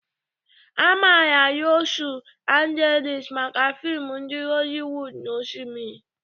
Amaara Losu Angelis maka fim ndi Holliwod na osimiri.